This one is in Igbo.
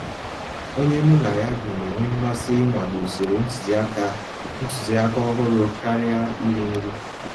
Ònyé mụ́ ná yá bí ná-ènwé mmàsí ìnwàlé ụ̀sòrò ntụ̀zìàkà ntụ̀zìàkà ọ̀hụ́rụ́ kàríà írì nrí.